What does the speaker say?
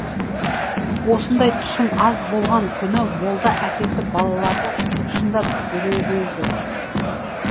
осындай түсім аз болған күні молда әкесі балаларды шындап дүрелейді